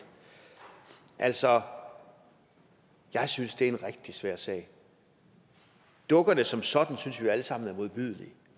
altså jeg synes det er en rigtig svær sag dukkerne som sådan synes vi jo alle sammen er modbydelige